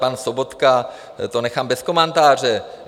Pan Sobotka, to nechám bez komentáře.